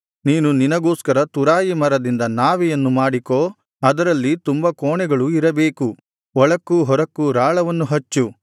ನೀನು ನಿನಗೋಸ್ಕರ ತುರಾಯಿ ಮರದಿಂದ ನಾವೆಯನ್ನು ಮಾಡಿಕೋ ಅದರಲ್ಲಿ ತುಂಬ ಕೋಣೆಗಳು ಇರಬೇಕು ಒಳಕ್ಕೂ ಹೊರಕ್ಕೂ ರಾಳವನ್ನು ಹಚ್ಚು